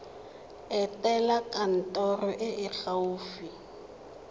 etela kantoro e e gaufi